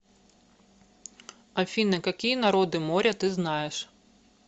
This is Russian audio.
афина какие народы моря ты знаешь